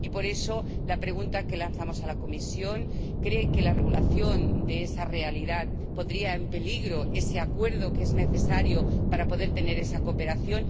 Y, por eso, la pregunta que lanzamos a la Comisión es ¿cree que la regulación de esa realidad pondría en peligro ese acuerdo que es necesario para poder tener esa cooperación?